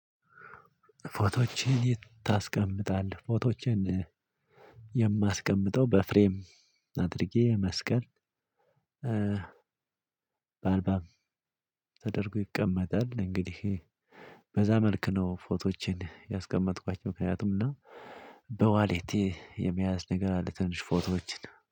ፎቶዎችን የት ታስቀምጣለህ? ፎቶዎችን የማስቀምጠው በፍሬም አድርጌ መስቀል በአልባም ተደርጎ ይቀመጣል። እንግዲህ በዛ መልክ ነው ፎቶዎቼን ያስቀመጥኳቸው ምክንያቱም እና በዋሌቴ የመያዝ ነገር አለ ትንሽ ፎቶዎችን